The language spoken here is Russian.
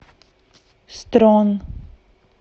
строн